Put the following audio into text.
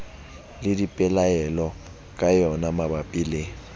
le dipelaelo ka yonamabapi le